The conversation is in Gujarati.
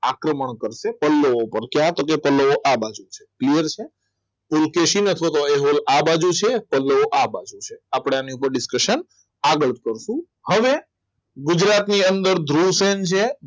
આક્રમણ કરશે આ બાજુ clear છે કુલ કેસીને આ બાજુ છે તો આ બાજુ છે આપણને discuson આગળ પડતું હવે ગુજરાતની અંદર ધ્રુવસેન છે